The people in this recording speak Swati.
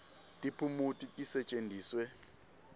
tiphumuti tisetjentiswe